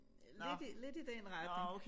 Lidt i lidt i den retning